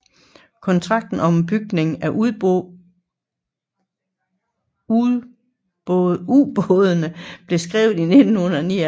Kontrakten om bygningen af ubådene blev skrevet i 1979